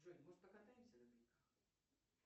джой может покатаемся на коньках